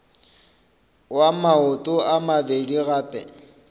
wa maoto a mabedi gape